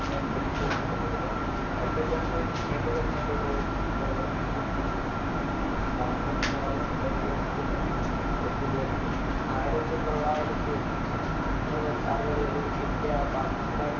രണ്ട് government രണ്ടു ഒരുമ്മിച്ചു പ്രവർത്തിച്ചു. ഒത്തുചേർത്തു. ആയിരത്തി തൊള്ളായിരത്തി അറുപതുകളില്‍ ഇന്ത്യ പാകിസ്ഥാൻ